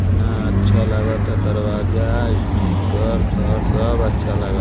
ना अच्छा लागाता। दरवाजा स्टिकर घर सब अच्छा लागाता।